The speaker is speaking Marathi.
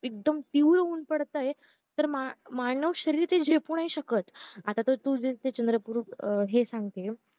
एकदम तीव्र ऊन पडतंय तर मान मानव शरीरात ते झेपू नाही शकत आता तू हे चंद्रपूर हे सांगतीअ